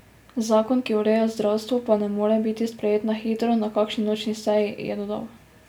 Zakon, ki ureja zdravstvo, pa ne more biti sprejet na hitro, na kakšni nočni seji, je dodal.